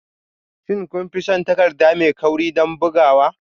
Shin kun fi son takarda mai kauri don bugawa?